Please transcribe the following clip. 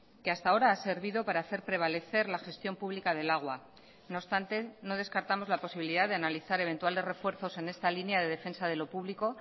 que hasta ahora ha servido para hacer prevalecer la gestión pública del agua no obstante no descartamos la posibilidad de analizar eventuales refuerzos en esta línea de defensa de lo público